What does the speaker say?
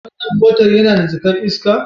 Wannan motan yana da jaka'n iska?